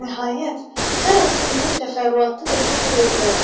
Nəhayət, hər hansı mühüm təfərrüatda da səhv edə bilərəm.